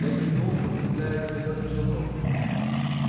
я кивнул подцепляя с тарелки желток